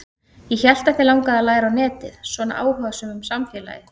Ég hélt að þig langaði að læra á netið, svona áhugasöm um samfélagið.